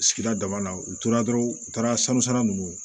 Sigida dama na u tora dɔrɔn u taara sanu o